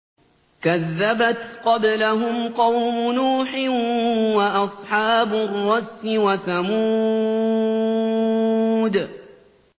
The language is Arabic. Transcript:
كَذَّبَتْ قَبْلَهُمْ قَوْمُ نُوحٍ وَأَصْحَابُ الرَّسِّ وَثَمُودُ